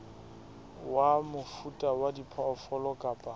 wa mofuta wa diphoofolo kapa